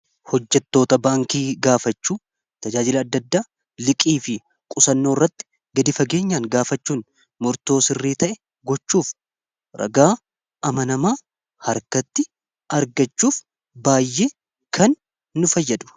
Hojjattoota baankii gaafachuu tajaajila adda addaa liqii fi qusannoo irratti gadi fageenyaan gaafachuun mortoo sirrii ta'e gochuuf ragaa amanamaa harkatti argachuuf baay'ee kan nu fayyadu.